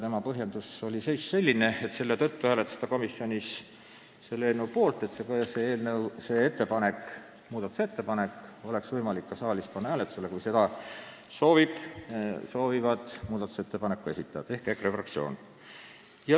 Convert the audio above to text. Adamsi põhjendus oligi selline, et ta hääletas komisjonis eelnõu poolt sellepärast, et seda muudatusettepanekut oleks võimalik ka saalis hääletusele panna, kui muudatusettepanekute esitaja ehk EKRE fraktsioon seda soovib.